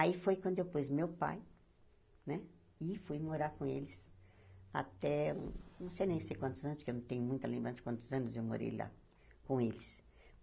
Aí foi quando eu pus meu pai né e fui morar com eles até... não sei nem se quantos anos, porque eu não tenho muita lembrança de quantos anos eu morei lá com eles.